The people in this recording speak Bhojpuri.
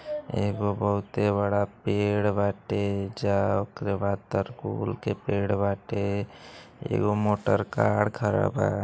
एगो बहुते बड़ा पेड़ बाटे जा ऑकरे बाद तर कूल के पेड़ बाटे एगो मोटर कार खड़ा बा |